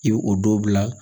I bɛ o dɔ bila